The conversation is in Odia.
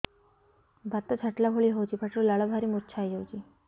ବାତ ଛାଟିଲା ଭଳି ହଉଚି ପାଟିରୁ ଲାଳ ବାହାରି ମୁର୍ଚ୍ଛା ହେଇଯାଉଛି